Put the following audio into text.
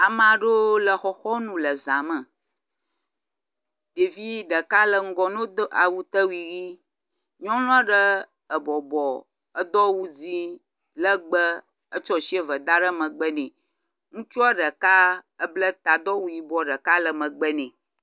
Ame aɖewo le xɔxɔnu le za me. Ɖevi ɖeka no do awutewui ʋi. Nyɔnu aɖe ebɔbɔ edo awu dzi legbe etsɔ asi eve da ɖe megbe nɛ. Ŋutsua ɖeka eble ta do awu yibɔ ɖeka le megbe nɛ.